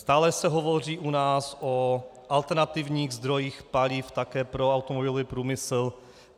Stále se hovoří u nás o alternativních zdrojích paliv také pro automobilový průmysl.